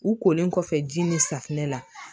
U kolen kɔfɛ ji ni safinɛ la